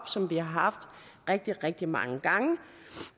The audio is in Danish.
som vi har haft rigtig rigtig mange gange